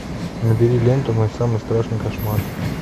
набери ленту мой самый страшный кошмар